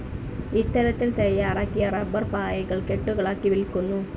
ഇത്തരത്തിൽ തയ്യാറാക്കിയ റബ്ബർ പായകൾ കെട്ടുകളാക്കി വിൽക്കുന്നു.